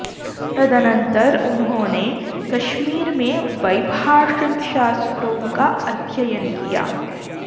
तदनन्तर उन्होंने कश्मीर में वैभाषिक शास्त्रों का अध्ययन किया